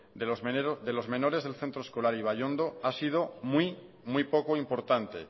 de los menores del centro escolar de ibaiondo ha sido muy muy poco importante